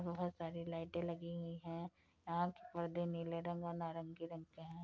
बोहोत सारी लाइटे लगी हुई हैं। यहां के परदे नीले रंग और नारंगी रंग के हैं।